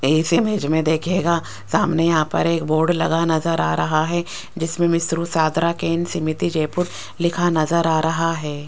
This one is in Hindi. इस इमेज में देखिएगा सामने यहां पर एक बोर्ड लगा नजर आ रहा है जिसमें मिश्रु सादरा केंद्र समिति जयपुर लिखा नजर आ रहा है।